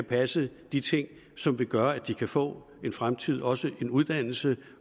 passe de ting som vil gøre at de kan få en fremtid og også en uddannelse